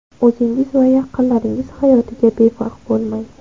O‘zingiz va yaqinlaringiz hayotiga befarq bo‘lmang.